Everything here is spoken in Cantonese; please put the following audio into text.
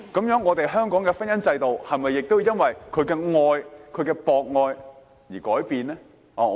那麼，香港的婚姻制度是否也要由於他的博愛而改變呢？